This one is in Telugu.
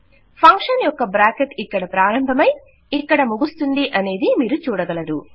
ఫంక్షన్ యొక్క బ్రాకెట్ ఇక్కడ ప్రారంభమయి ఇక్కడ ముగుస్తుందనేది మీరు చూడగలరు